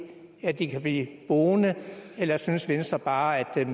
at de kan blive boende eller synes venstre bare at